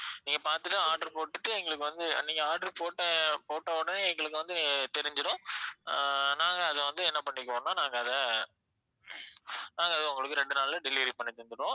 நீங்க பார்த்துட்டு order போட்டுட்டு எங்களுக்கு வந்து நீங்க order போட்ட போட்ட உடனே எங்களுக்கு வந்து தெரிஞ்சிடும் ஆஹ் நாங்க அத வந்து என்ன பண்ணிக்குவோம்னா நாங்க அத நாங்க அத ஒரு ரெண்டு நாள்ல delivery பண்ணி தந்திடுவோம்